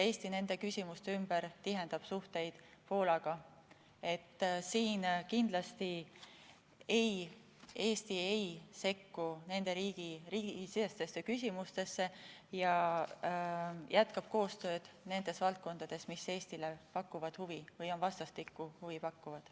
Kindlasti Eesti tihendab suhteid Poolaga, aga Eesti ei sekku nende riikide sisemistesse küsimustesse ja jätkab koostööd nendes valdkondades, mis pakuvad meile huvi või on vastastikku huvi pakkuvad.